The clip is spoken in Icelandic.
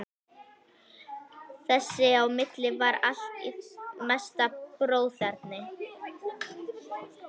Þess á milli var allt í mesta bróðerni.